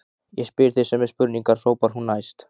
Ég spyr þig sömu spurningar, hrópar hún æst.